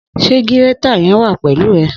Sẹ gírẹ̀tá yén wà pẹlu ẹ?